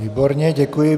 Výborně, děkuji.